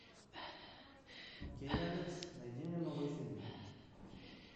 окей яндекс найди мне новые фильмы